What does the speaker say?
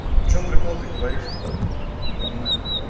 в чём прикол ты говоришь то не понимаю